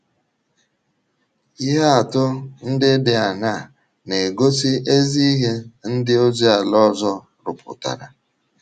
Ihe atụ ndị dị aṅaa na - egosi ezi ihe ndị ozi ala ọzọ rụpụtara?